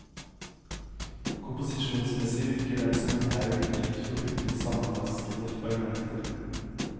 Komposisjonsmessig virker den som en haug litt for hurtig sammenraskede fragmenter.